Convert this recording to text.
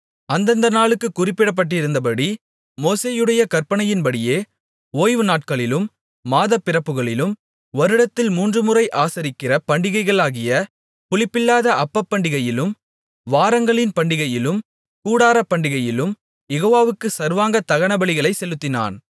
அந்தந்த நாளுக்குக் குறிப்பிடப்பட்டிருந்தபடி மோசேயுடைய கற்பனையின்படியே ஓய்வுநாட்களிலும் மாதப்பிறப்புகளிலும் வருடத்தில் மூன்றுமுறை ஆசரிக்கிற பண்டிகைகளாகிய புளிப்பில்லாத அப்பப்பண்டிகையிலும் வாரங்களின் பண்டிகையிலும் கூடாரப்பண்டிகையிலும் யெகோவாவுக்கு சர்வாங்க தகனபலிகளைச் செலுத்தினான்